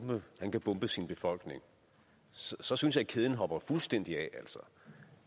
kan bombe sin befolkning så synes jeg kæden hopper fuldstændig